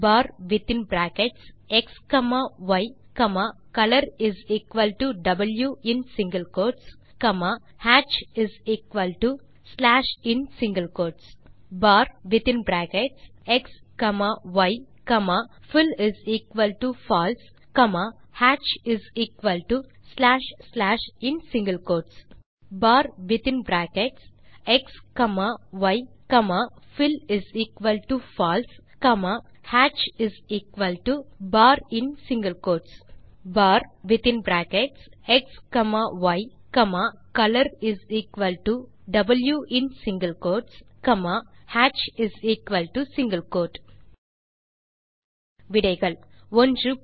bar within bracket x comma y comma colorw in single quote comma hatchin single quote slash bar within bracket x comma y comma fillFalse comma hatchslash slash in single quote bar within bracket x comma y comma fillFalse comma hatchin single quote| bar within bracket x comma y comma color in single quote wow comma hatchsingle quote விடைகள் 1